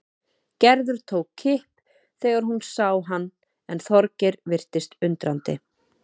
Gerður tók kipp þegar hún sá hann en Þorgeir virtist undrandi.